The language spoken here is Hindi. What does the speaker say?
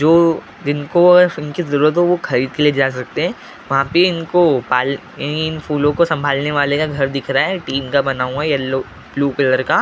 जो जिनको इनकी जरूरत हो वो खरीद के ले जा सकते हैं वहाँ पे इनको पाल इन फूलों को संभालने वाले का घर दिख रहा है टीम का बना हुआ है येलो ब्लू कलर का--